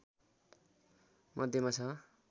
मध्यमा छ